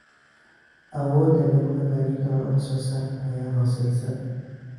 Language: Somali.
Awoodda lagu hagaajin karo wax soo saarka ayaa hooseysa.